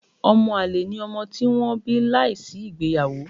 Ọmọ-àlè ni ọmọ tí wọ́n bí láìsí ìgbéyàwó.